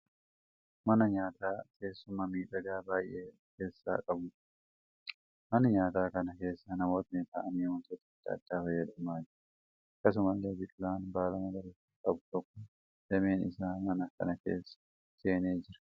Mana nyaataa teessuma miidhagaa baay'ee ofi keessaa qabuudha. Mana nyaataa kana keessa namootni ta'anii wantoota adda addaa fayyadamaa jiru. Akkasumallee biqilaan baala magariisa qabu tokko dameen isaa mana kana keessa seenee jira.